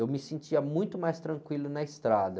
Eu me sentia muito mais tranquilo na estrada.